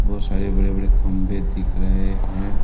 बहुत सारे बड़े बड़े खंबे दिख रहे हैं।